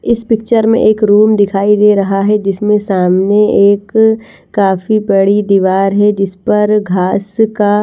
इस पिक्चर मे एक रूम दिखाई दे रहा है जिसमे सामने एक काफी बड़ी दीवार है जिसपर घास का --